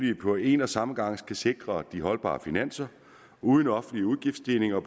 det på en og samme gang skal sikre de holdbare finanser uden offentlige udgiftsstigninger